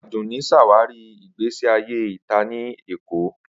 Adunni ṣawari igbesi aye ita ni Lagos